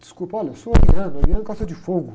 Desculpa, olha, eu sou ariano, ariano gosta de fogo.